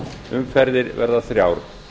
umferðir verða þrjár